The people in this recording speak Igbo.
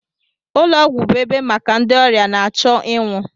ụlọ ọgwụ bụ ebe maka ndị ọrịa na-achọ ịnwụ